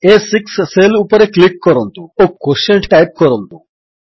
ଆ6 cell ଉପରେ click କରନ୍ତୁ ଓ କ୍ୱୋଟିଏଣ୍ଟ ଟାଇପ୍ କରନ୍ତୁ